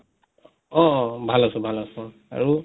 অ অ অ ভাল আছো ভাল আছো আৰু